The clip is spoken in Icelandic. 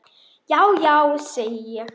Já já, segi ég.